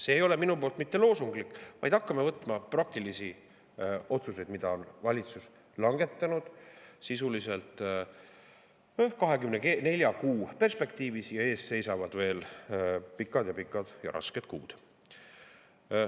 See ei ole mul mitte loosunglik väljendus, vaid hakkame võtma praktilisi otsuseid, mida on valitsus langetanud sisuliselt 24 kuu perspektiivis ja ees seisavad veel pikad-pikad ja rasked kuud.